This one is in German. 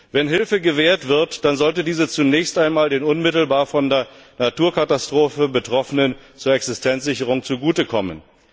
Wenn Hilfe gewährt wird, dann sollte diese zunächst einmal den unmittelbar von der Naturkatastrophe Betroffenen zur Existenzsicherung zugute kommen.